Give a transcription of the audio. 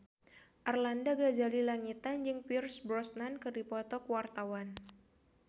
Arlanda Ghazali Langitan jeung Pierce Brosnan keur dipoto ku wartawan